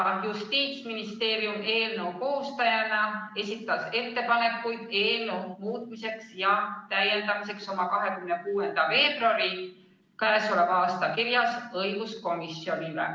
Justiitsministeerium eelnõu koostajana esitas oma ettepanekud eelnõu muutmiseks ja täiendamiseks k.a 26. veebruaril õiguskomisjonile saadetud kirjas.